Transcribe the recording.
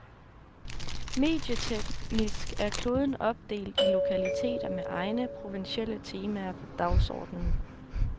Medieteknisk er kloden opdelt i lokaliteter med egne provinsielle temaer på dagsordenen.